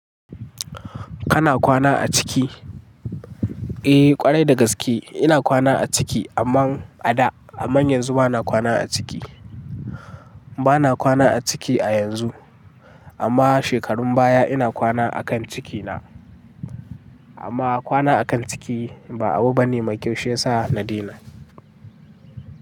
Kana kwana a ciki? Eh kwarai da gaske ina kwana a ciki amma a da. Amma yanzu bana kwana a ciki. Bana kwana a ciki a yanzu amma shekarun baya ina kwana akan ciki na. Amma kwana akan ciki ba abu bane mai kyau shiyasa na daina.